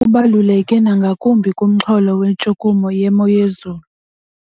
Oku kubaluleke nangakumbi kumxholo wentshukumo yemozulu.